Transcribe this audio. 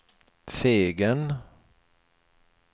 Fegen